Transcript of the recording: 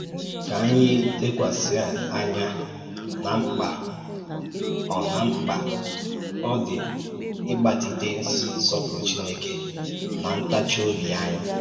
Kà ànyí lèkwàsì ànyà n’á mkpa ọ́ n’á mkpa ọ́ dị ị́gbàtìté nsọ́pùrụ̀ Chínèkè n’á ntáchì-ọ̀bì ànyí.